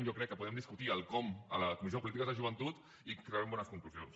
jo crec que podem discutir el com a la comissió de polítiques de joventut i que traurem bones conclusions